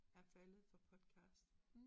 Er faldet for podcast